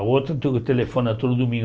A outra tu telefona todo domingo.